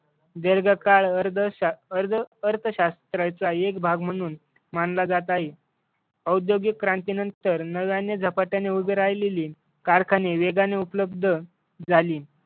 दीर्घकाळ अर्थशास्त्राचा एक भाग म्हणून मानला जात आहे. औद्योगिक क्रांतीनंतर नव्याने झपाट्याने उभी राहिलेली कारखाने वेगाने उपलब्ध झाली.